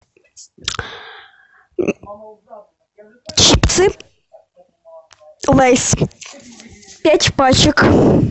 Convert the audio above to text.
чипсы лейс пять пачек